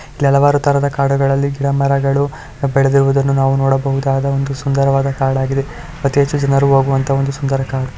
ಕೆಲವರು ತರದ ಕಾಡುಗಳಲ್ಲಿ ಗಿಡ ಮರಗಳು ಹ್ ಬೆಳೆದಿರುವುದನ್ನು ನಾವು ನೋಡುಬಹುದಾದ ಒಂದು ಸುಂದರವಾದ ಕಾಡಾಗಿದೆ ಅತಿ ಹೆಚ್ಚು ಜನರು ಹೋಗುವಂತಹ ಒಂದು ಸುಂದರ ಕಾಡು.